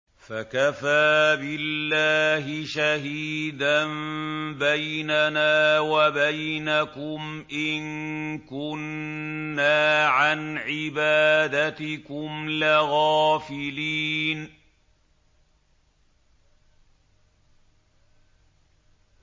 فَكَفَىٰ بِاللَّهِ شَهِيدًا بَيْنَنَا وَبَيْنَكُمْ إِن كُنَّا عَنْ عِبَادَتِكُمْ لَغَافِلِينَ